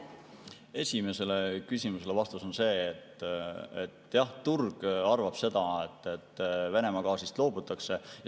Esimesele küsimusele vastus on see, et jah, turg arvab seda, et Venemaa gaasist loobutakse.